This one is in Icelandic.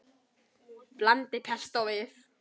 Blandið pestó við.